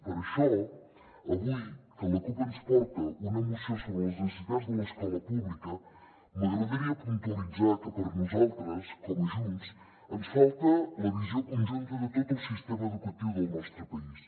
per això avui que la cup ens porta una moció sobre les necessitats de l’escola pública m’agradaria puntualitzar que per nosaltres com a junts ens falta la visió conjunta de tot el sistema educatiu del nostre país